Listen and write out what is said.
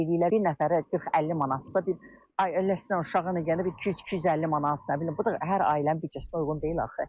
Bir nəfəri 40-50 manatdırsa, bir ailə, yəni bir uşağına, yəni bir 200-250 manat, nə bilim, bu da hər ailənin büdcəsinə uyğun deyil axı.